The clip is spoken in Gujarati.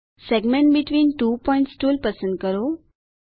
segment between two points tool પસંદ કરો